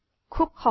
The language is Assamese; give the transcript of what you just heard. খুব সহজ